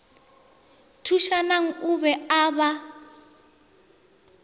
thušanang o be a ba